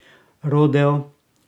Rodeo?